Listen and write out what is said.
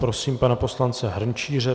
Prosím pana poslance Hrnčíře.